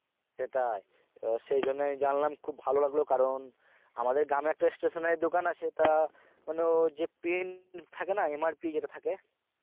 সেটাই, সেই জন্যই জানলাম খুব ভালো লাগলো কারণ, আমাদের গ্রামএ একটা stationary দোকান আছে তা মানে ও যে pen থাকে না মানে MRP যেটা থাকে